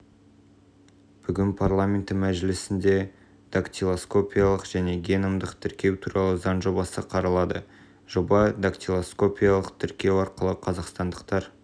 бүгін парламенті мәжілісінде дактилоскопиялық және геномдық тіркеу туралы заң жобасы қаралады жоба дактилоскопиялық тіркеу арқылы қазақстандықтар